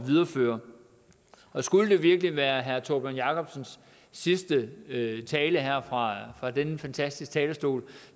videreføre og skulle det virkelig være herre tórbjørn jacobsens sidste tale her fra denne fantastiske talerstol